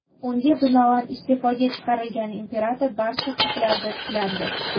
Unga binoan, iste’foga chiqarilgan imperator barcha huquqlarda tiklandi.